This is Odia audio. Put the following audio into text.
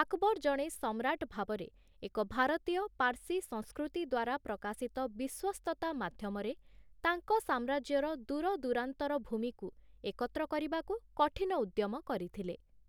ଆକବର ଜଣେ ସମ୍ରାଟ ଭାବରେ ଏକ ଭାରତୀୟ-ପାର୍ସୀ ସଂସ୍କୃତି ଦ୍ଵାରା ପ୍ରକାଶିତ ବିଶ୍ୱସ୍ତତା ମାଧ୍ୟମରେ ତାଙ୍କ ସାମ୍ରାଜ୍ୟର ଦୂରଦୂରାନ୍ତର ଭୂମିକୁ ଏକତ୍ର କରିବାକୁ କଠିନ ଉଦ୍ୟମ କରିଥିଲେ ।